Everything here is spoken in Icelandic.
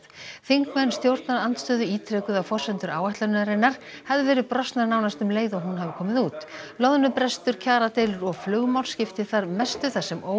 þingmenn stjórnarandstöðu ítrekuðu að forsendur áætlunarinnar hefðu verið brostnar nánast um leið og hún hafi komið út loðnubrestur kjaradeilur og flugmál skipti þar mestu þar sem